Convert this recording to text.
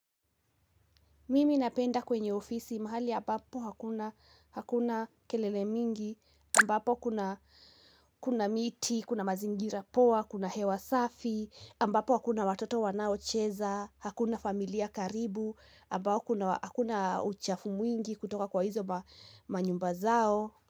Mimi napenda kwenye ofisi mahali ambapo hakuna kelele mingi, ambapo kuna kuna miti, kuna mazingira poa, kuna hewa safi, ambapo hakuna watoto wanaocheza, hakuna familia karibu, ambapo hakuna uchafu mwingi kutoka kwa hizo manyumba zao.